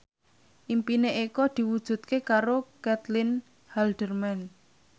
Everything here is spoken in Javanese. impine Eko diwujudke karo Caitlin Halderman